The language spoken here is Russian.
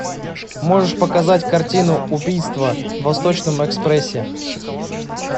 можешь показать картину убийство в восточном экспрессе